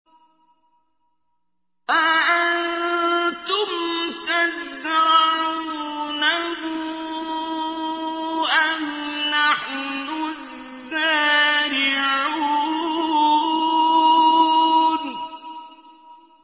أَأَنتُمْ تَزْرَعُونَهُ أَمْ نَحْنُ الزَّارِعُونَ